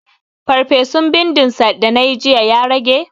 Farfesun bindin sa da nayi jiya ya rage?